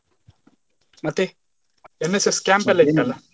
ಮತ್ತೆ NSS camp ಎಲ್ಲ ಇತ್ತಲ್ಲ.